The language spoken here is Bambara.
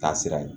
Taasira ye